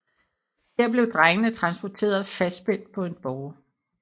Her blev drengene transporteret fastspændt på en båre